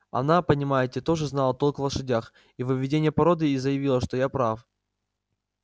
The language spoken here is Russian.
она понимаете тоже знала толк в лошадях и в выведении породы и заявила что я прав